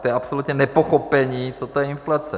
To je absolutně nepochopení, co to je inflace.